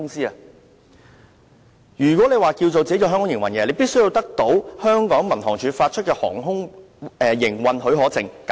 若要在香港營運，必須取得民航處發出的航空營運許可證。